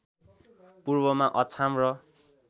पूर्वमा अछाम र